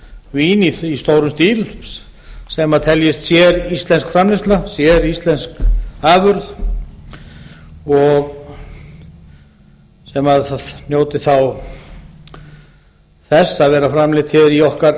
vín í stórum stíl sem teljist séríslenska framleiðsla séríslensk afurð sem njóti þá þess að vera framleidd hér í okkar